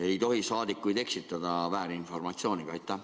Ei tohi saadikuid eksitada väärinformatsiooniga.